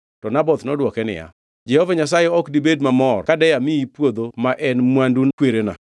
To Naboth nodwoke niya, “Jehova Nyasaye ok dibed mamor kade amiyi puodho ma en mwandu kwerena.”